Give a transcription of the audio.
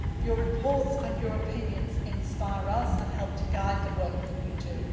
world. Your reports and your opinions inspire us and help to guide the work that